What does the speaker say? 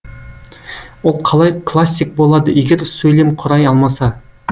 ол қалай классик болады егер сөйлемқұрай алмаса